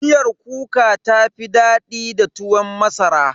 Miyar kuka ta fi daɗi da tuwon masara.